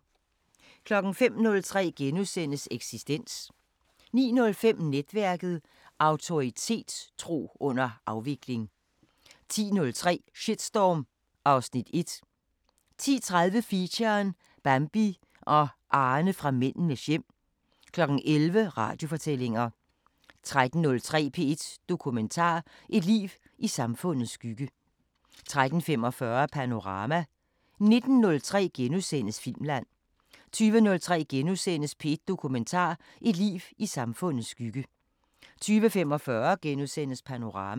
05:03: Eksistens * 09:05: Netværket: Autoritetstro under afvikling 10:03: Shitstorm (Afs. 1) 10:30: Feature: Bambi og Arne fra Mændenes hjem 11:00: Radiofortællinger 13:03: P1 Dokumentar: Et liv i samfundets skygge 13:45: Panorama 19:03: Filmland * 20:03: P1 Dokumentar: Et liv i samfundets skygge * 20:45: Panorama *